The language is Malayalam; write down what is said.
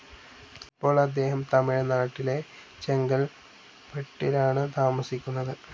ഇപ്പോൾ അദ്ദേഹം തമിഴ്നാട്ടിലെ ചെങ്കൽപ്പെട്ടിലാണ് താമസിക്കുന്നത്.